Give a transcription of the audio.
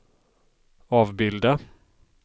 avbilda